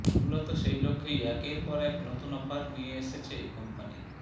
মূলত সেই লক্ষ্যেই একের পর এক নতুন অফার নিয়ে এসেছে কোম্পানি